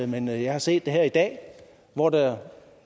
men jeg jeg har set det her i dag hvor der